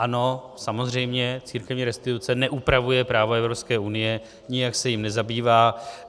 Ano, samozřejmě, církevní restituce neupravuje právo Evropské unie, nijak se jím nezabývá.